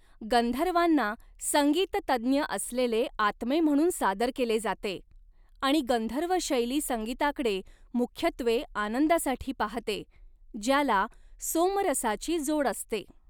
गंधर्वांना संगीत तज्ज्ञ असलेले आत्मे म्हणून सादर केले जाते, आणि गंधर्व शैली संगीताकडे मुख्यत्वे आनंदासाठी पाहते, ज्याला सोमरसाची जोड असते.